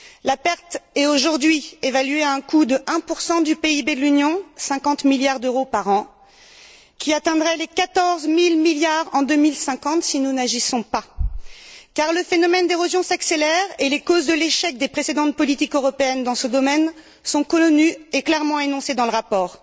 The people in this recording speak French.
La perte est aujourd'hui évaluée à un coût de 1 du PIB de l'Union 50 milliards d'euros par an qui atteindrait les quatorze mille milliards en 2050 si nous n'agissons pas, car le phénomène d'érosion s'accélère et les causes de l'échec des précédentes politiques européennes dans ce domaine sont connues et clairement énoncées dans le rapport.